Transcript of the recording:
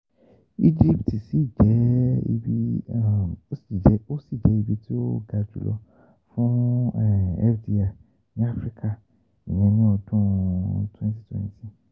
Egypt ṣi jẹ ibi ṣi jẹ ibi ti o ga julọ fun FDI ni Afirika ni ọdun 2020